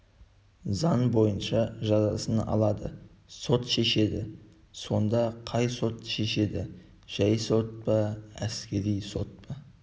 заң бойынша жазасын алады сот шешеді сонда қай сот шешеді жай сот па әскери сот па